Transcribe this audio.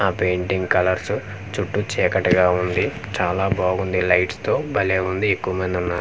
ఆ painting colours చుట్టూ చీకటిగా ఉంది చాలా బాగుంది లైట్స్ తో బలే ఉంది ఈ కుమేను.